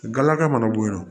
Galaga mana bonyan